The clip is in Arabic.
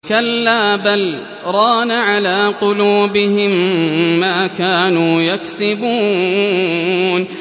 كَلَّا ۖ بَلْ ۜ رَانَ عَلَىٰ قُلُوبِهِم مَّا كَانُوا يَكْسِبُونَ